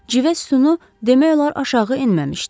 Civə sütunu demək olar aşağı enməmişdi.